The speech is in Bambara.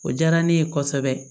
O diyara ne ye kosɛbɛ